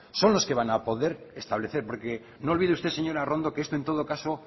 son los que van a poder establecer porque no olvide usted señora arrondo que esto en todo caso